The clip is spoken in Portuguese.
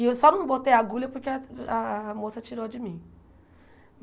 E eu só não botei a agulha porque a a moça tirou de mim.